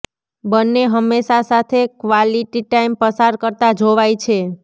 બન્ને હમેશા સાથે ક્વાલિટી ટાઈમ પસાર કરતા જોવાય છે